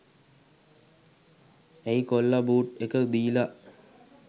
ඇයි කොල්ල බූට් එක දීල